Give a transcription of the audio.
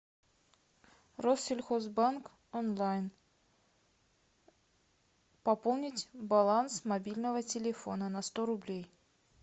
россельхозбанк онлайн пополнить баланс мобильного телефона на сто рублей